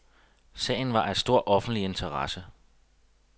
Sagen var af stor offentlig interesse.